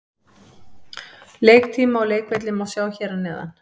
Leiktíma og leikvelli má sjá hér að neðan.